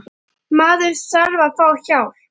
Maður þarf að fá hjálp.